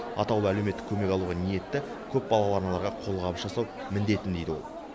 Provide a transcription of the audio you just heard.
атаулы әлеуметтік көмек алуға ниетті көпбалалы аналарға қолғабыс жасау міндетім дейді ол